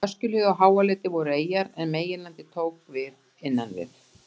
Öskjuhlíð og Háaleiti voru eyjar en meginlandið tók við innan við